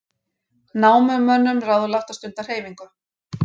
Námumönnum ráðlagt að stunda hreyfingu